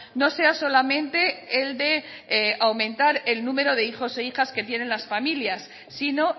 no sea solamente el de aumentar el número de hijos e hijas que tienen las familias sino